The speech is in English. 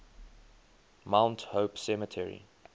mount hope cemetery